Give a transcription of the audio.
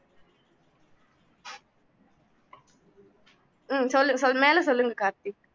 உம் சொல்லு சொல் மேலே சொல்லுங்க கார்த்திக்